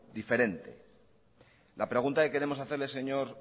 diferente la pregunta que queremos hacerle señor